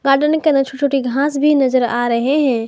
Garden के अंदर छोटी छोटी घास भी नजर आ रहे हैं।